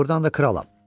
Doğurdan da kralam.